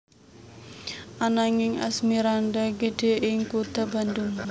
Ananging Asmirandah gedhe ing kutha Bandung